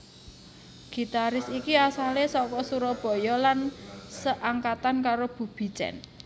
Gitaris iki asale saka Surabaya lan seangkatan karo Bubi Chen